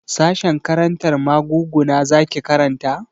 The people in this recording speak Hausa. Sashen karantar maguguna zaki karanta?